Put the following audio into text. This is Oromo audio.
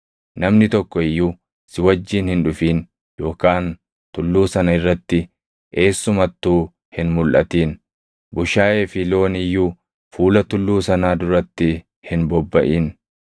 Namni tokko iyyuu si wajjin hin dhufin yookaan tulluu sana irratti eessumattuu hin mulʼatin. Bushaayee fi loon iyyuu fuula tulluu sanaa duratti hin bobbaʼin.”